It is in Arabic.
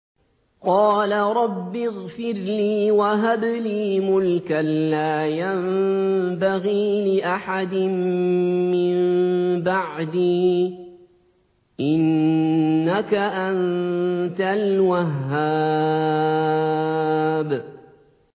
قَالَ رَبِّ اغْفِرْ لِي وَهَبْ لِي مُلْكًا لَّا يَنبَغِي لِأَحَدٍ مِّن بَعْدِي ۖ إِنَّكَ أَنتَ الْوَهَّابُ